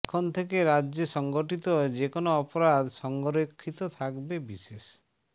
এখন থেকে রাজ্যে সংগঠিত যে কোন অপরাধ সংরক্ষিত থাকবে বিশেষ